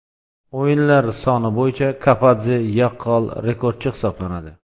O‘yinlar soni bo‘yicha Kapadze yaqqol rekordchi hisoblanadi.